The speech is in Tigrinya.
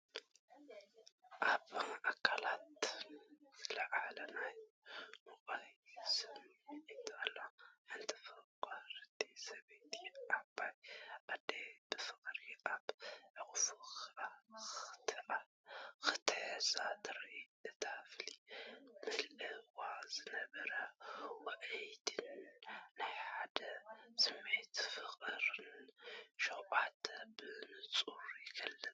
ኣብ ኣካላትና ዝለዓል ናይ ውዑይ ስምዒት ኣሎ፤ ሓንቲ ፍቕርቲ ሰበይቲ ዓባይ ኣዲኣ ብፍቕሪ ኣብ ሕቑፋ ክትሕዛ ትርኢ። ነታ ክፍሊ መሊእዋ ዝነበረ ውዑይነትን ናይ ሓደነት ስምዒትን ፍቕርን ሸውዓተ ብንጹር ይግለጽ።